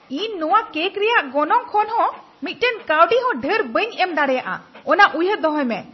ᱤᱧ ᱱᱚᱶᱟ ᱠᱮᱠ ᱨᱮᱭᱟᱜ ᱜᱚᱱᱚᱝ ᱠᱷᱚᱱ ᱦᱚᱸ ᱢᱤᱫᱴᱟᱝ ᱠᱟᱹᱣᱰᱤᱦᱚᱸ ᱰᱷᱮᱨ ᱵᱟᱹᱧ ᱮᱢ ᱫᱟᱲᱮᱭᱟᱜᱼᱟ ᱾ ᱚᱱᱟ ᱩᱭᱦᱟᱹᱨ ᱫᱚᱦᱚᱭ ᱢᱮ !